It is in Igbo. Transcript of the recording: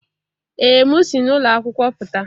Ee m si n'ụlọ akwụkwọ pụta.